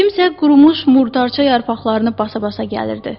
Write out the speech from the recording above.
Kimsə qurumuş murdarça yarpaqlarını basa-basa gəlirdi.